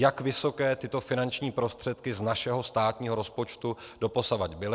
Jak vysoké tyto finanční prostředky z našeho státního rozpočtu doposud byly.